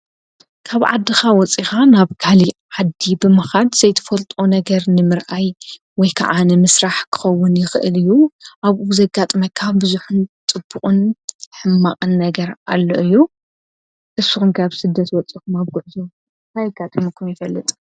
ካብ ዓድካ ወፂኻ ናብ ካሊእ ዓዲ ብምከድ ዘይጥፈልጦ ነገር ንምርኣይ ወይ ክዓ ንምስራሕ ክኸውን ይክእል እዩ ።ኣብኡ ብዘጋጥመካ ብዙሕ ፅቡቅን ሕማቅን ነገር ኣሎ እዩ። ንስኩም ከ ኣብ ጉዕዞ እንታይ ኣጋጢምኩም ይፈልጥ?